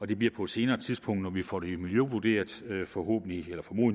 det bliver på et senere tidspunkt når vi får det miljøvurderet formodentlig